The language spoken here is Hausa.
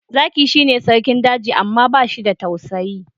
Zaki shi ne Sarkin daji amma bashi da tausayi